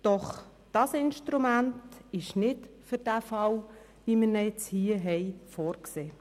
Doch dieses Instrument ist nicht für einen Fall wie den vorliegenden vorgesehen.